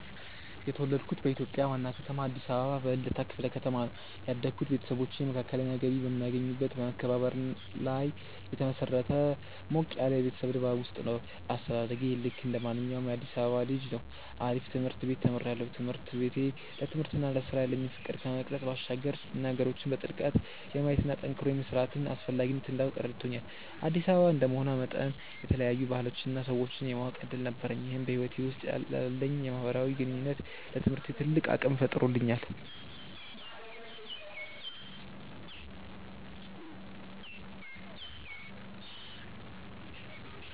የተወለድኩት በኢትዮጵያ ዋና ከተማ አዲስ አበባ በልደታ ክፍለ ከተማ ነው። ያደግኩት ቤተሰቦቼ መካከለኛ ገቢ በሚያገኙበት በመከባበርና ላይ በተመሰረተ ሞቅ ያለ የቤተሰብ ድባብ ውስጥ ነው። አስተዳደጌ ልክ እንደማንኛውም የአዲሳባ ልጅ ነው አሪፍ ትምርት ቤት ተምሪያለሁ። ትምህርት ቤቴ ለትምህርትና ለስራ ያለኝን ፍቅር ከመቅረጽ ባሻገር ነገሮችን በጥልቀት የማየትና ጠንክሮ የመስራትን አስፈላጊነት እንዳውቅ ረድቶኛል። አዲስ አበባ እንደመሆኗ መጠን የተለያዩ ባህሎችንና ሰዎችን የማወቅ እድል ነበረኝ ይህም በህይወቴ ውስጥ ላለኝ የማህበራዊ ግንኙነትና ለትምህርቴ ትልቅ አቅም ፈጥሮልኛል።